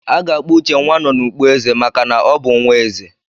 A ga-akpọ Uche "Nwanonukpo-ezè" maka na ọ bụ nwa ezè.